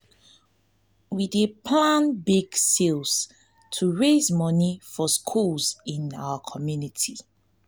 we dey plan bake sales to raise money for schools in our community.